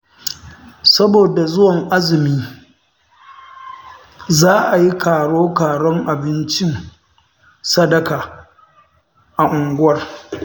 Saboda zuwan azumi, za a yi karo-karon abincin sadaka a unguwar